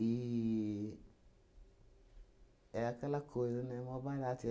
era aquela coisa, né, mó barato